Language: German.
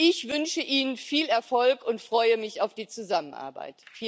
Ich wünsche Ihnen viel Erfolg und freue mich auf die Zusammenarbeit.